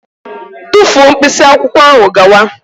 Tufuo mkpịsị akwụkwọ ahụ gawa!